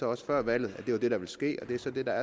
også før valget at det var det der ville ske og det er så det der